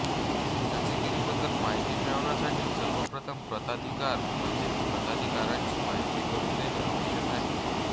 चाचेगिरीबद्दल माहिती मिळवण्यासाठी सर्वप्रथम प्रताधिकार म्हणजेच प्रताधिकारांची माहिती करून घेणे आवश्यक आहे